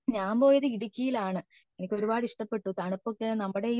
ഞാൻ പോയത് ഇടുക്കിയിലാണ് എനിക്ക് ഒരുപാട് ഇഷ്ടപ്പെട്ടു തണുപ്പൊക്കെ നമ്മുടെ